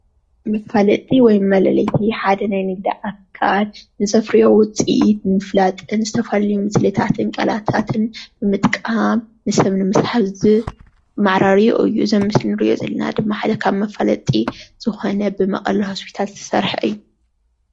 መፋለጢ ወይ መለለዪ ኾይኑ ሓደ ናይ ንግዲ ኣካል ንዘፍርዮ ውፅኢት ንምፍለጥዝተፈላለዩ ሞስልታት እዩ።